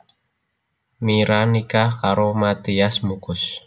Mira nikah karoMathias Muchus